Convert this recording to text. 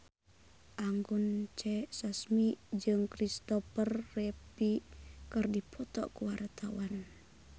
Anggun C. Sasmi jeung Christopher Reeve keur dipoto ku wartawan